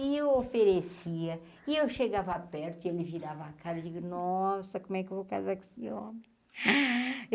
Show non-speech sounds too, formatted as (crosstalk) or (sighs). E eu oferecia, e eu chegava perto e ele virava a cara eu digo, nossa, como é que eu vou casar com esse homem? (sighs)